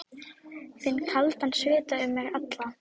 Finn kaldan svita um mig alla.